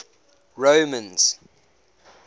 romans